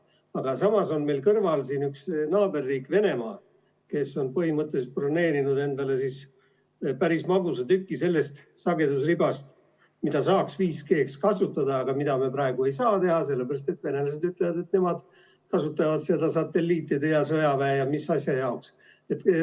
Aga samas on meil kõrval siin üks naaberriik, Venemaa, kes on põhimõtteliselt broneerinud endale päris magusa tüki sellest sagedusribast, mida saaks 5G-ks kasutada, aga seda me praegu ei saa teha, sellepärast et venelased ütlevad, et nemad kasutavad seda satelliitide ja sõjaväe ja mis asja jaoks.